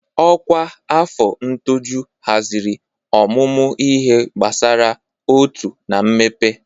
Ọkwa afọ ṅtọjụ haziri ọmụmụ ihe gbasara uto na mmepe.